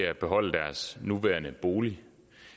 at beholde deres nuværende bolig